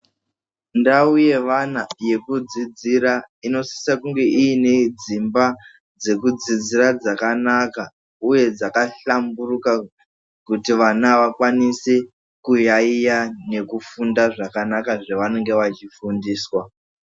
Ndau yeana yekudzidzira inosisa kunge ine dzimba dzekudzidzira dzakanaka, uye dzakahlamburuka kuti vana vakwanise kuyaiya nekufunda zvakanaka zvavanenge vachifundiswa.